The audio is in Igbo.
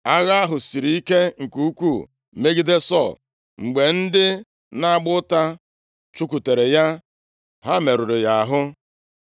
Agha ahụ siri ike nke ukwuu megide Sọl, mgbe ndị na-agba ụta chụkwutere ya ha merụrụ ya ahụ.